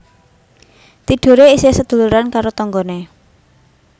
Tidore isih seduluran karo tonggone